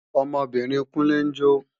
Ọmọbìnrin Kúnlé ń jó